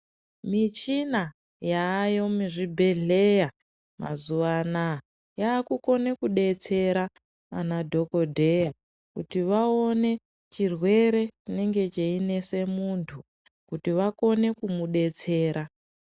Michina yaayo muzvibhedhleya mazuwa anaa yaakukone kudetsera anadhokodheya kuti vaone chirwere chinenge cheinese munthu kuti vakone kumudetsera.